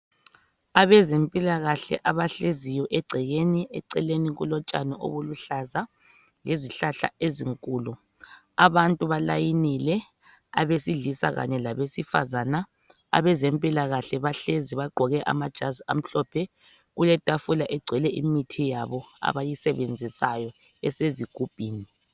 Abezempilakahle abahleziyo egcekeni kulotshani obuluhlaza lezihlahla ezinkulu, abantu balayinile, abesilisa kanye labesifazana. Abezempilakahle bahlezi bagqoke amajazi amhlophe, kuletafula egcwele imithi yabo abayisebenzisayo esezigubhini.